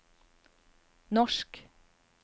norsk